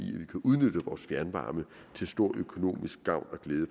udnytte vores fjernvarme til stor økonomisk gavn og glæde